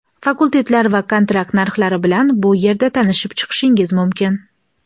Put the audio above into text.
Fakultetlar va kontrakt narxlari bilan bu yerda tanishib chiqishingiz mumkin.